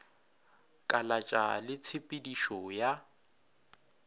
kalatša le tshe pedišo ya